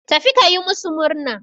Tafi ka yi masu murna.